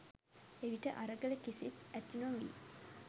එවිට අරගල කිසිත්, ඇති නොවී